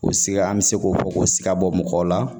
O sika an bɛ se k'o fɔ k'o sika bɔ mɔgɔw la